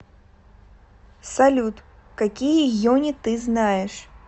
салют какие йони ты знаешь